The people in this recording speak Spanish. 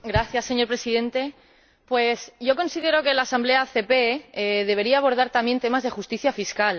Señor Presidente, considero que la Asamblea ACP debería abordar también temas de justicia fiscal.